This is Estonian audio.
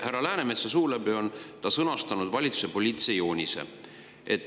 Härra Läänemetsa suu läbi on nad sõnastanud valitsuse poliitilise joonise.